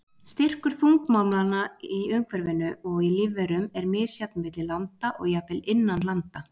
Styrkur þungmálmanna í umhverfinu og í lífverum er misjafn milli landa og jafnvel innan landa.